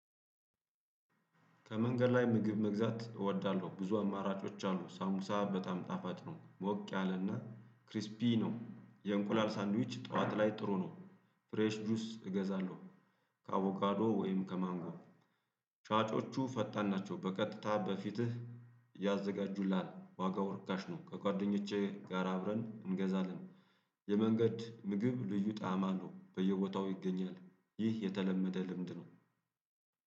ከመንገድ ላይ ምግብ መግዛት እወዳለሁ ብዙ አማራጮች አሉ ሳምቡሳ በጣም ጣፋጥ ነው ሞቅ ያለና ክሪስፒ ነው የእንቁላል ሳንድዊች ጠዋት ላይ ጥሩ ነው። ፍሬሽ ጁስ እገዛለሁ። ከአቮካዶ ወይም ከማንጋቡ። ሻጮቹ ፈጣን ናቸው በቀጥታ በፊትህ ያዘጋጁልሃል። ዋጋው ርካሽ ነው። ከጓደኞቼ ጋር አብረን እንገዛለን። የመንገድ ምግብ ልዩ ጣዕማ አለው በየቦታው ይገኛል። ይህ የተለመደ ልምድ ነው።